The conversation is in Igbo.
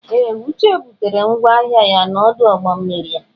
Ee! Uche butere ngwa ahịa ya n'ọdụ ụgbọ mmiri a.